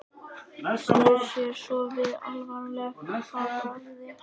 Snýr sér svo við alvarleg í bragði.